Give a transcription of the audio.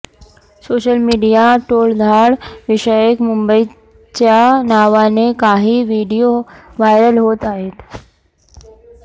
social मीडियात टोळधाड विषयक मुंबईच्या नावाने काही व्हिडीओ व्हायरल होत आहेत